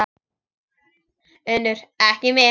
UNNUR: Ekki mitt.